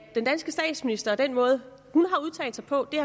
den danske statsminister og den måde hun har udtalt sig på